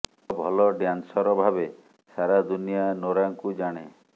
ଏକ ଭଲ ଡ୍ୟାନ୍ସର ଭାବେ ସାରା ଦୁନିଆ ନୋରାଙ୍କୁ ଜାଣେ